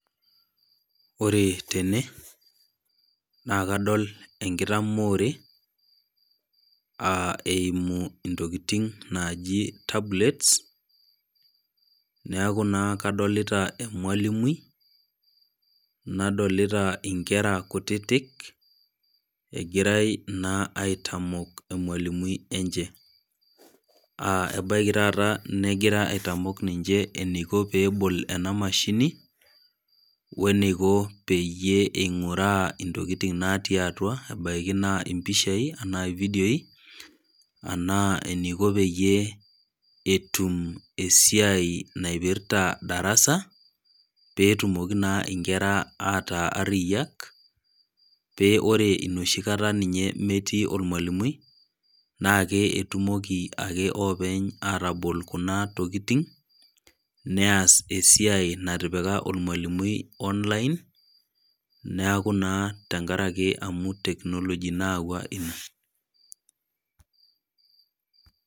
Ore tene, naakadol enkitaamore eimu intokitin naaji tablets, neaku naa kadolita emwalimui nadolita inkera kutitik, egirai naa aitamok emwalimui enye, aa ebaiki taata negira aitamok ninche eneiko peebol ena emashini, we eneiko pee eing'uraa intokitin naati atua, ebaiki naa impishai ana ividioi anaa eneiko pee etum esiai naipirta darasa pee etumoki naa inkera aaku ariyak, pee ore nooshikata metii olmwalimui naake etumoki ake oopeny atabol kuna tokitin, neas esiai natipika olmwalimui online neaku naa enkaraki technology naayawua ina.